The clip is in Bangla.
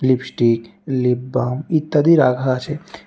লিপস্টিক লিপবাম ইত্যাদি রাখা আছে।